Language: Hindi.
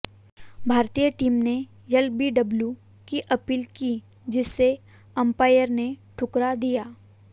भारतीय टीम ने एलबीडब्ल्यू की अपील की जिसे अंपायर ने ठुकरा दिया